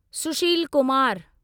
Sushil Kumar